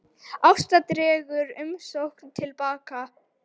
Ásta dregur umsókn til baka